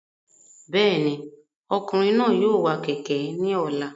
Bẹ́ẹ̀ni, ọkùnrin náà yóò wa kẹ̀kẹ́ ní ọ̀la